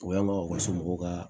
O yan nɔ u ka somɔgɔw ka